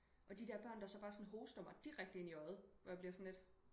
Og så de der børn der så bare sådan hoster mig direkte ind i øjet hvor jeg bliver sådan lidt